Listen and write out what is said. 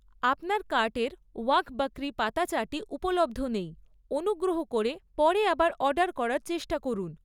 আপনার কার্টের ওয়াঘ বকরি পাতা চাটি উপলব্ধ নেই, অনুগ্রহ করে পরে আবার অর্ডার করার চেষ্টা করুন।